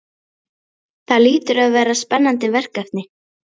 Það hlýtur að vera spennandi verkefni?